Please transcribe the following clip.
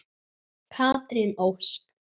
Katrín Ósk.